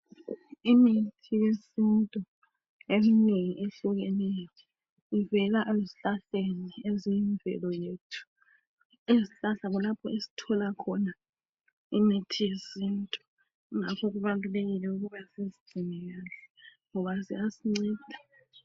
Imithi yesintu eminengi ehlukeneyo ivela ezihlahlani ezemvelo yethu. Izihlahla kulapho esithola khona imithi yesintu ngakho kubalulekile ukuba sizigcine kahle ngoba ziyasinceda.